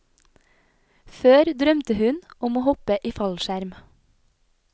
Før drømte hun om å hoppe i fallskjerm.